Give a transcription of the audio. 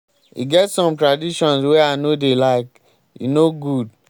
e get some traditions wey i no dey like. e no good.